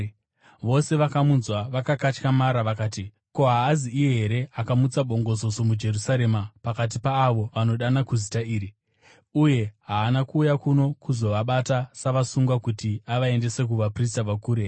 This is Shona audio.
Vose vakamunzwa vakakatyamara vakati, “Ko, haazi iye here akamutsa bongozozo muJerusarema pakati paavo vanodana kuzita iri? Uye haana kuuya kuno kuzovabata savasungwa kuti avaendese kuvaprista vakuru here?”